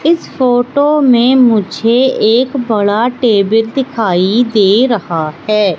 इस फोटो में मुझे एक बड़ा टेबल दिखाई दे रहा है।